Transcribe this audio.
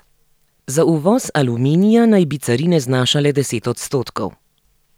Za uvoz aluminija naj bi carine znašale deset odstotkov.